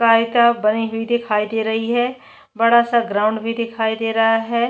गाय चाप बनी हुई दिखाई दे रही है बड़ा-सा ग्राउंड भी दिखाई दे रहा हैं।